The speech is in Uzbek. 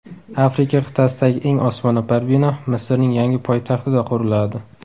Afrika qit’asidagi eng osmono‘par bino Misrning yangi poytaxtida quriladi.